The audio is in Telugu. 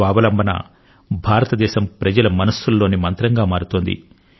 స్వావలంబనయుత భారతదేశం ప్రజల మనస్సు లోని మంత్రంగా మారుతోంది